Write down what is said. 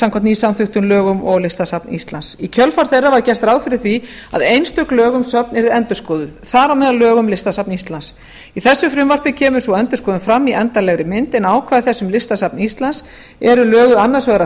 samkvæmt nýsamþykktum lögum og listasafn íslands í kjölfar þeirra var gert ráð fyrir því að einstök lög um söfn yrðu endurskoðuð þar á meðal lög um listasafn íslands í frumvarpinu kemur sú endurskoðun fram í endanlegri mynd en ákvæði þess um listasafn íslands eru löguð annars vegar að